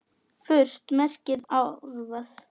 Furt merkir árvað.